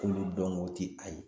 K'olu dɔnko tɛ a ye.